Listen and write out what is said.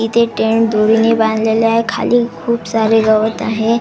इथे टेन दोरीने बांधलेले आहे खाली खूप सारे गवत आहे.